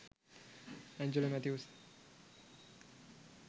Angelo Mathews